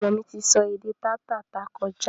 Ọmọ mi ti sọ èdè taa tá tà kọjá